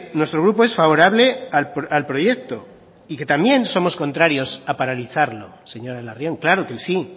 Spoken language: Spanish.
nuestro grupo es favorable al proyecto y que también somos contrarios a paralizarlo señora larrion claro que sí